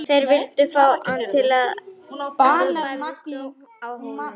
Þeir vildu fá hann til samninga áður en barist yrði á Hólum.